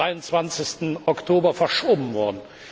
23. Oktober verschoben worden.